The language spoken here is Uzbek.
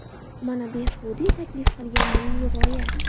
Mana Behbudiy taklif qilgan milliy g‘oya.